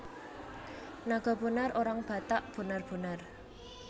Naga Bonar orang Batak bonar bonar